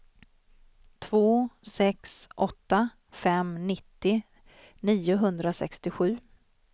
två sex åtta fem nittio niohundrasextiosju